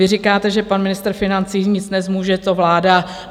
Vy říkáte, že pan ministr financí nic nezmůže, to vláda.